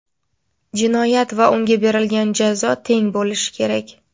Jinoyat va unga berilgan jazo teng bo‘lishi kerak.